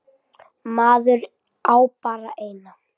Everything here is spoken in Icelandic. Maður á bara eina.